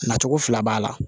Nacogo fila b'a la